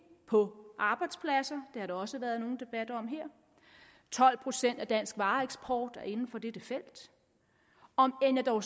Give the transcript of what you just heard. på arbejdspladser det har der også været nogen debat om her tolv procent af dansk vareeksport er inden for dette felt om end jeg dog